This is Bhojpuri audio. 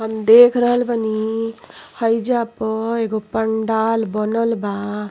हम देख बनी हइजा प एगो पंडाल बनल बा।